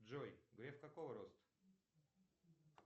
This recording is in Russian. джой греф какого роста